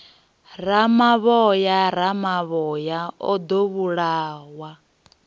ramavhoya ramavhoya o ḓo vhulawa